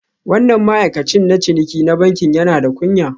Wannan ma'aikacin na ciniki na bankin yana da kunya